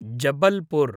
Jabalpur